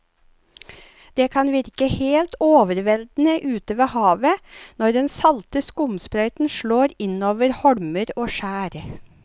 Det kan virke helt overveldende ute ved havet når den salte skumsprøyten slår innover holmer og skjær.